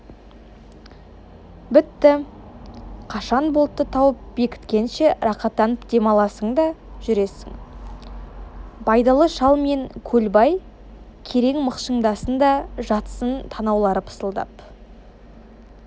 бітті қашан болтты тауып бекіткенше рақаттанып дем аласың да жүресің байдалы шал мен көлбай керең мықшыңдасын да жатсын танаулары пысылдап